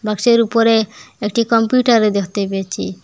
বাক্সের উপরে একটি কম্পিউটারও দেখতে পেয়েছি।